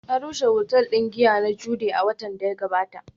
An rushe otal din giya na Jude a watan da ya gabata